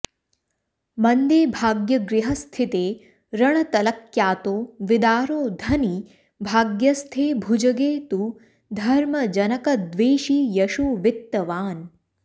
मन्दे भाग्यगृहस्थिते रणतलक्यातो विदारो धनी भाग्यस्थे भुजगे तु धर्मजनकद्वेषी यशोवित्तवान्